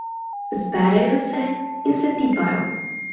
Zberejo se in se tipajo.